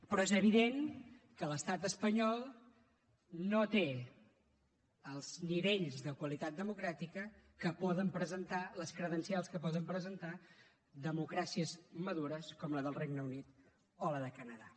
però és evident que l’estat espanyol no té els nivells de qualitat democràtica que poden presentar les credencials que poden presentar democràcies madures com la del regne unit o la del canadà